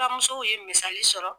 musow ye misali sɔrɔ.